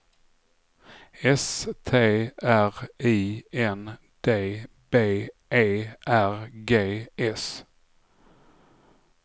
S T R I N D B E R G S